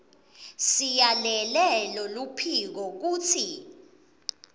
siyalele loluphiko kutsi